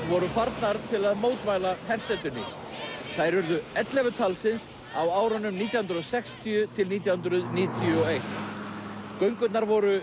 voru farnar til að mótmæla hersetunni þær urðu ellefu talsins á árunum nítján hundruð og sextíu til nítján hundruð níutíu og eitt göngurnar voru